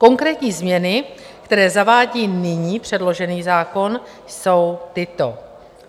Konkrétní změny, které zavádí nyní předložený zákon, jsou tyto: